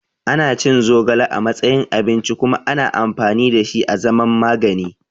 Ana cin zogale a matsayin abinci kuma ana amfani da shi a zaman magani.